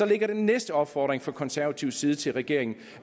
ligger den næste opfordring fra konservativ side til regeringen